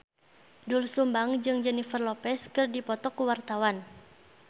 Doel Sumbang jeung Jennifer Lopez keur dipoto ku wartawan